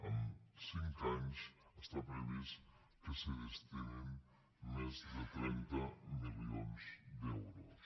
en cinc anys està previst que s’hi destinin més de trenta milions d’euros